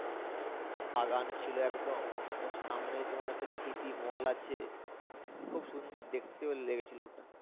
বাগান ছিলো একদম ওর সামনেই তোমার হচ্ছে স্মৃতি মল আছে খুব সুন্দর দেখতেও লেগেছিলো ওটা।